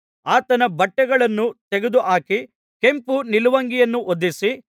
ಆತನ ಬಟ್ಟೆಗಳನ್ನು ತೆಗೆದುಹಾಕಿ ಕೆಂಪು ನಿಲುವಂಗಿಯನ್ನು ಹೊದಿಸಿ